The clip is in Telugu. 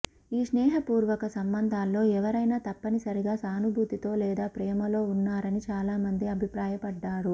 ఈ స్నేహపూర్వక సంబంధాల్లో ఎవరైనా తప్పనిసరిగా సానుభూతితో లేదా ప్రేమలో ఉన్నారని చాలా మంది అభిప్రాయపడ్డారు